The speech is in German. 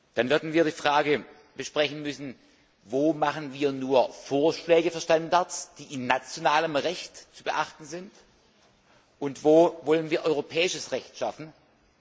Dann werden wir die Frage besprechen müssen, wo wir nur Vorschläge für Standards machen, die im nationalen Recht zu beachten sind, und wo wir europäisches Recht schaffen wollen.